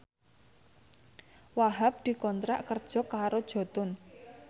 Wahhab dikontrak kerja karo Jotun